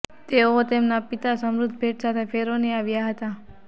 તેઓ તેમના પિતા સમૃદ્ધ ભેટ સાથે ફેરોની આવ્યા હતા